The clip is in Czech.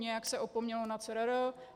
Nějak se opomnělo na CRR.